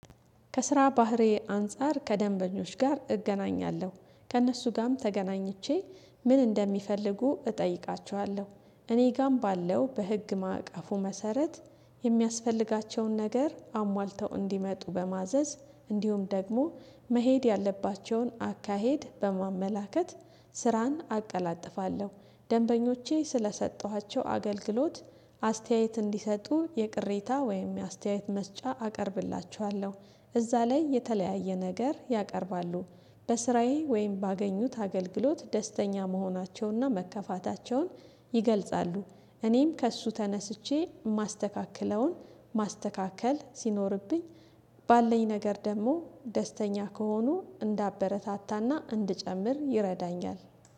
ከስራ ባህሪ አንፃር ከደንበኞች ጋር እገናኛለሁ ከእነሱ ጋም ተገናኝቼ ምን እንደሚፈልጉ እጠይቃችኋለሁ እኔ ጋም ባለው በህግ ማዕቀፉ መሰረት። የሚያስፈልጋቸውን ነገር አሟልተው እንዲመጡ በማዘዝ እንዲሁም ደግሞ መሄድ ያለባቸውን አካሄድ በማመላከት ስራን አቀላጥፋለሁ። ደንበኞቼ ስለሰጠኋቸው አገልግሎት አስተያየት እንዲሰጡ የቅሬታ ወይም የአስተያየት መስጫ አቀርብላችኋለሁ። እዛ ላይ የተለያየ ነገር ያቀርባሉ። በስራዬ ወይም ባገኙት አገልግሎት ደስተኛ መሆናቸውንና መከፋታቸውን ይገልጻሉ። እኔም ከእሱ ተነስቼ ማስተካከለውን ማስተካከል ሲኖርብኝ። ባለኝ ነገር ደግሞ ደስተኛ ከሆኑ እንዳበረታታና እንድጨምር ይረዳኛል።